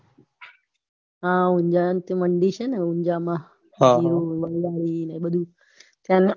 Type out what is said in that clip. ઊંજા મંદિર છે ને ઊંઝામાં મંદિ